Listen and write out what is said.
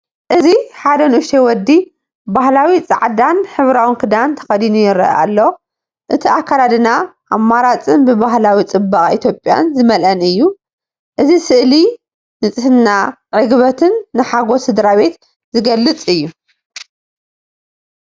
እዚ ሓደ ንእሽቶ ወዲ ባህላዊ ጻዕዳን ሕብራዊን ክዳን ተኸዲኑ ይረአ ኣሎ። እቲ ኣከዳድና ኣማራጺን ብባህላዊ ጽባቐ ኢትዮጵያ ዝመልአን እዩ። እዚ ስእሊ ንጽህናን ዕግበትን፡ ንሓጐስ ስድራቤት ዝገልጽ እዩ።